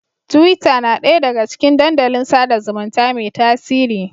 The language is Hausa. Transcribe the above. Tiwita na ɗaya daga cikin dandalin sada zumunta mai tasiri.